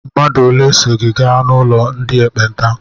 Mmadụ ole so gị gaa n'ụlọ ndị ekpenta?